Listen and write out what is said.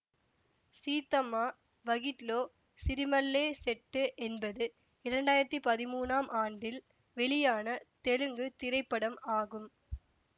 சீத்தம்மா வகிட்லோ சிரிமல்லே செட்டு என்பது இரண்டாயிரத்தி பதிமூனாம் ஆண்டில் வெளியான தெலுங்கு திரைப்படம் ஆகும்